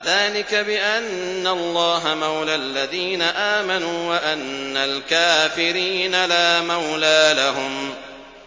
ذَٰلِكَ بِأَنَّ اللَّهَ مَوْلَى الَّذِينَ آمَنُوا وَأَنَّ الْكَافِرِينَ لَا مَوْلَىٰ لَهُمْ